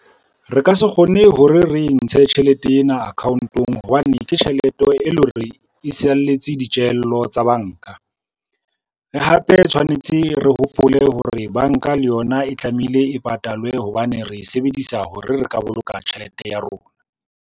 Re ka se kgone hore re ntshe tjhelete ena account-ong, hobane ke tjhelete e le hore, e saletse ditjehello tsa banka. Re hape tshwanetse re hopole hore banka le yona e tlamehile e patalwe hobane re e sebedisa hore re ka boloka tjhelete ya rona.